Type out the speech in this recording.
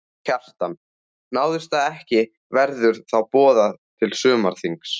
Kjartan: Náist það ekki verður þá boðað til sumarþings?